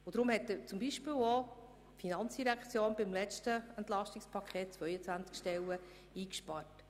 Deshalb hat zum Beispiel die FIN beim letzten EP 22 Stellen eingespart.